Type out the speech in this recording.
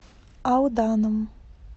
алданом